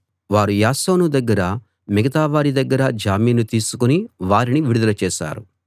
వారు యాసోను దగ్గరా మిగతావారి దగ్గరా జామీను తీసుకుని వారిని విడుదల చేశారు